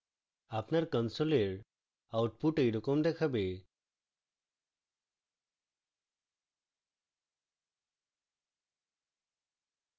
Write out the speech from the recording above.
আপনার console output এইরকম দেখাবে